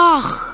Ax!